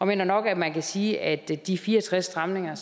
mener nok at man kan sige at de fire og tres stramninger